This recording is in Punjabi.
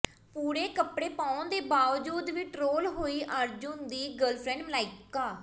ਪੂਰੇ ਕੱਪੜੇ ਪਾਉਣ ਦੇ ਬਾਵਜੂਦ ਵੀ ਟ੍ਰੋਲ ਹੋਈ ਅਰਜੁਨ ਦੀ ਗਰਲਫ੍ਰੈਂਡ ਮਲਾਇਕਾ